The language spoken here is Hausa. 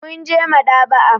Mun je maɗ'aba'a.